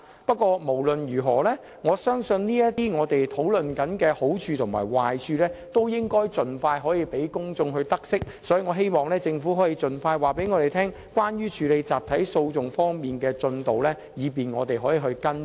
不過，無論如何，我相信這些正在討論的好處和壞處均應盡快讓公眾知悉，所以希望政府可盡快向我們交代處理引入集體訴訟的工作的進度，以便我們可以作出跟進。